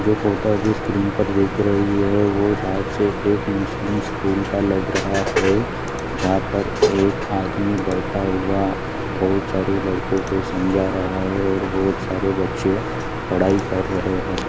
जो फोटो जिस स्क्रीन पर दिख रही है वो शायद से एक मुस्लिम स्कूल का लग रहा है जहाँ पर एक आदमी बैठा हुआ बहुत सारे लड़कों को समझा रहा है और बहुत सारे बच्चे पढ़ाई कर रहे है।